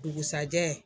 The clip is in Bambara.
Dugusajɛ